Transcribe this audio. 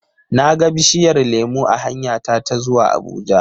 na ga bishiyar lemu a hanyata ta zuwa Abuja.